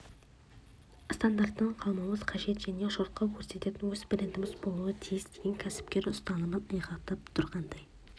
стандарттан қалмауымыз қажет және жұртқа көрсететін өз брендіміз болуы тиіс деген кәсіпкер ұстанымын айғақтап тұрғандай